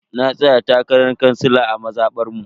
Na tsaya takarar kansila a mazabar mu.